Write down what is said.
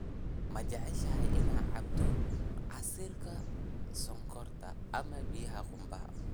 Ma jeceshahay inaad cabto casiirka sonkorta ama biyaha qumbaha?